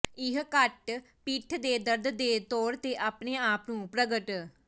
ਇਹ ਘੱਟ ਪਿੱਠ ਦੇ ਦਰਦ ਦੇ ਤੌਰ ਤੇ ਆਪਣੇ ਆਪ ਨੂੰ ਪ੍ਰਗਟ